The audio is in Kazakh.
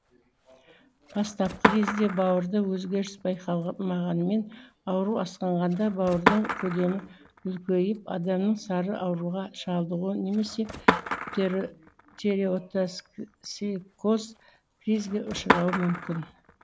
бастапқы кезде бауырда өзгеріс байқалмағанмен ауру асқынғанда бауырдың көлемі үлкейіп адамның сары ауруға шалдығуы немесе тиреотоксикоз кризге ұшырауы мүмкін